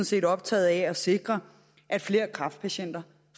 set optaget af at sikre at flere kræftpatienter